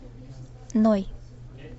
ной